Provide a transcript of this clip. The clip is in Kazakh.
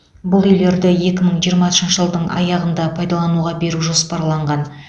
бұл үйлерді екі мың жиырмасыншы жылдың аяғында пайдалануға беру жоспарланған